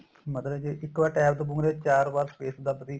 ਮਤਲਬ ਜੇ ਇੱਕ ਵਾਰ TAB ਦਬੋਗੇ ਚਾਰ ਵਾਰ space ਦਬਤੀ